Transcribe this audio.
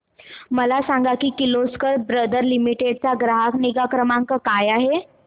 मला सांग Kirloskar brother limited चा ग्राहक निगा क्रमांक काय आहे